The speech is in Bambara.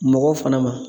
Mɔgɔw fana ma